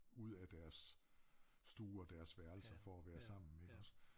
Ud af deres stue og deres værelser for at være sammen iggås